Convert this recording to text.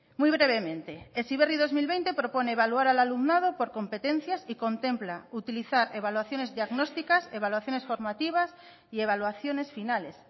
muy brevemente heziberri dos mil veinte propone evaluar al alumnado por competencias y contempla utilizar evaluaciones diagnósticas evaluaciones formativas y evaluaciones finales